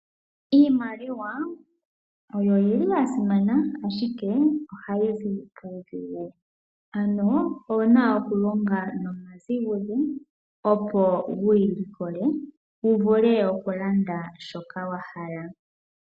Iimaliwa oya simana, ashike ohayi zi puudhigu. Ano owu na okulonga nomazigudhe wuyi likole. Wu vule okulanda shoka wa hala.